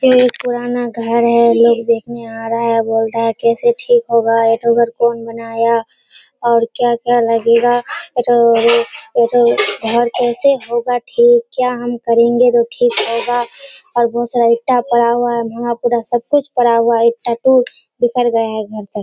एक पुराना घर है। लोग देखने आ रहा है बोलता है कैसे ठीक होगा ? ये तो घर कौन बनाया और क्या क्या लगेगा। अच्छा वो जो और जो कैसे होगा ठीक क्या हम करेंगे जो ठीक होगा और बहुत सारा ईटा पड़ा हुआ है वहाँ पुरा सबकुछ पड़ा हुआ है ईटा तो बिखर गया है घर तक।